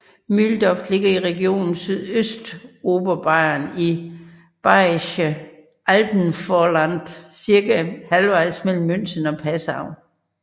Mühldorf ligger i region Sydøstoberbayern i Bayerisches Alpenvorland cirka halvejs mellem München og Passau